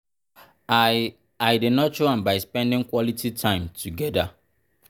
i i dey nurture am by spending quality time together.